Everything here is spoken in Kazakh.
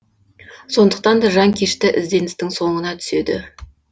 сондықтан да жанкешті ізденістің соңына түседі